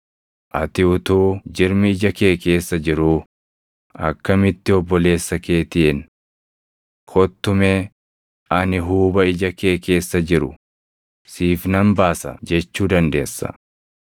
Ati utuu jirmi ija kee keessa jiruu akkamitti obboleessa keetiin, ‘Kottu mee ani huuba ija kee keessa jiru siif nan baasa’ jechuu dandeessa?